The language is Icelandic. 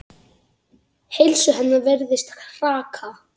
Heilsu hennar virðist hraka.